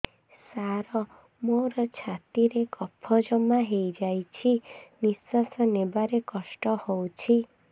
ସାର ମୋର ଛାତି ରେ କଫ ଜମା ହେଇଯାଇଛି ନିଶ୍ୱାସ ନେବାରେ କଷ୍ଟ ହଉଛି